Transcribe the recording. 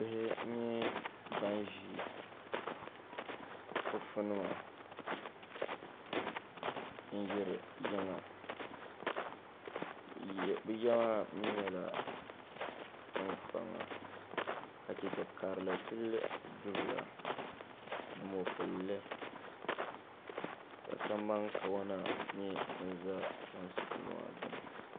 Bihi n nyɛ ban ʒi fufu nima n yiri yiŋa bɛ ya maa nyɛla tiŋkpaŋa ka cheche karili tili du'bila ni mokpulli ka Samban kawana nyɛ din za chemsi duu maa gbini.